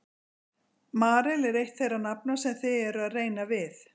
Marel er eitt þeirra nafna sem þið eruð að reyna við?